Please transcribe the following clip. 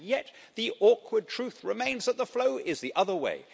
And yet, the awkward truth remains that the flow is the other way.